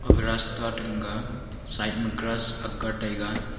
aga raasta ting ga side ma grass akar taiga.